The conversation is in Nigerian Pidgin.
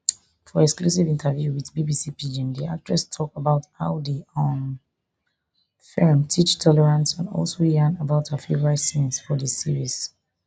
for exclusive interview wit bbc pidgin di actress tok about how di um feem teach tolerance and also yarn about her favourite scenes for di series